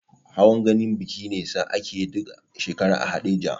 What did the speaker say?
Hawan gani biki ne sa akeyi duk shekara a haɗeja